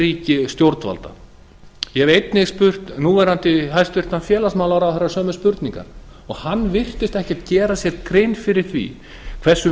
stjórnvalda ég hef einnig spurt núv hæstvirts félagsmálaráðherra sömu spurningar og hann virtist ekkert gera sér grein fyrir því hversu